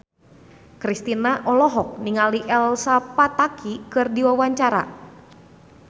Kristina olohok ningali Elsa Pataky keur diwawancara